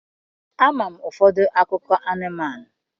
amam ufodu akuko anumanu.